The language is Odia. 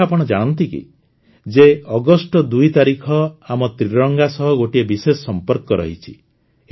ଏ କଥା ଆପଣ ଜାଣନ୍ତି କି ଯେ ଅଗଷ୍ଟ ୨ ତାରିଖର ଆମ ତ୍ରରଙ୍ଗା ସହ ଗୋଟିଏ ବିଶେଷ ସମ୍ପର୍କ ରହିଛି